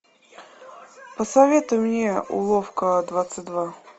посоветуй мне уловка двадцать два